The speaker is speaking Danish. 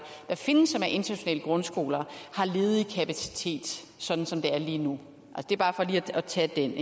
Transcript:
der findes og er internationale grundskoler har ledig kapacitet sådan som det er lige nu det er bare for lige at tage den